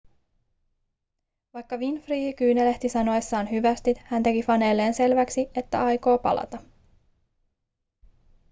vaikka winfrey kyynelehti sanoessaan hyvästit hän teki faneilleen selväksi että aikoo palata